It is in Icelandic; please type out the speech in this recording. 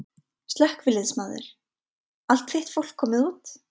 Slökkviliðsmaður: Allt þitt fólk komið út?